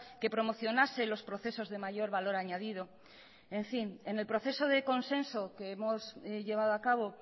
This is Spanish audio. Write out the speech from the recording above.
que promocionase los procesos de mayor valor añadido en fin en el proceso de consenso que hemos llevado a cabo